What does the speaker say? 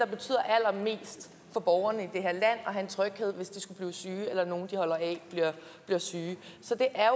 betyder allermest for borgerne i det er at have tryghed hvis de skulle blive syge eller nogle de holder af bliver syge så det er